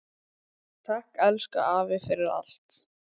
Takk, elsku afi, fyrir allt.